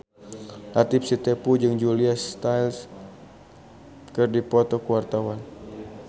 Latief Sitepu jeung Julia Stiles keur dipoto ku wartawan